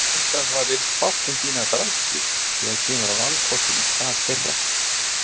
Verst að það virðist fátt um fína drætti þegar kemur að valkostum í stað þeirra.